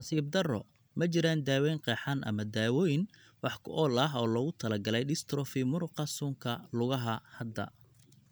Nasiib darro, ma jiraan daawayn qeexan ama dawooyin wax ku ool ah oo loogu talagalay dystrophy muruqa suunka lugaha (LGMDs) hadda.